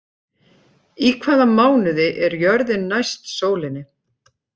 Í hvaða mánuði er jörðin næst sólinni?